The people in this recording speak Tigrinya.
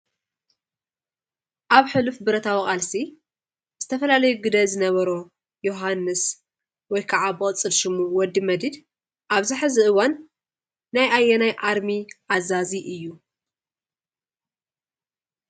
ኣብ ሕሉፍ ብረታዊ ቃልሲ ዝተፈላለዩ ግደ ዝነበሮ ዮውሃን ወይ ከዓ ብቅፅል ስሙ ወዲ መዲድ ኣብዚ ሕዚ እዋን ናይ አየናን አርሚ አዛዚ እዩ?